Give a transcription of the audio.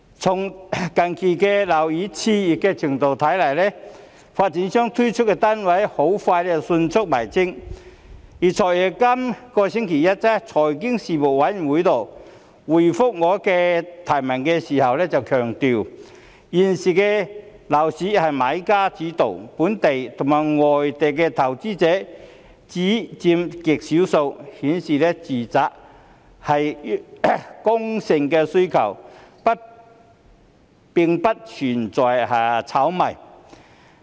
從近期樓市熾熱的程度看來，發展商推出的單位很快便沽清，而"財爺"於本星期一在財經事務委員會會議上回覆我的提問時強調，現時的樓市由買家主導，本地和外地的投資者只佔極少數，顯示住宅是剛性需求，並不存在炒賣。